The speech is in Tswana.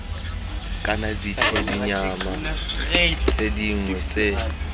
kana ditshedinyana tse dingwe tse